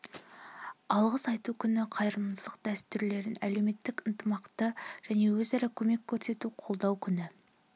алғыс айту күні қайырымдылық дәстүрлерін әлеуметтік ынтымақты және өзара көмек көрсетуді қолдау күні